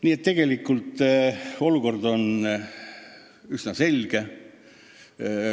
Nii et tegelikult on olukord üsna selge.